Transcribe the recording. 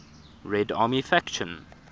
red army faction